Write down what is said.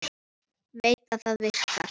Veit að það virkar.